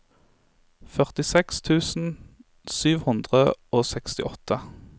førtiseks tusen sju hundre og sekstiåtte